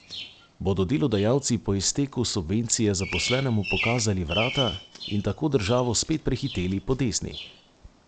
Bodo delodajalci po izteku subvencije zaposlenemu pokazali vrata in tako državo spet prehiteli po desni?